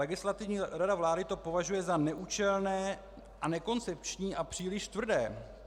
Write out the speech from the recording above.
Legislativní rada vlády to považuje za neúčelné a nekoncepční a příliš tvrdé.